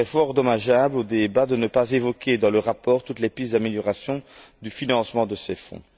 Il serait fort dommageable au débat de ne pas évoquer, dans le rapport, toutes les pistes d'amélioration du financement de ces fonds.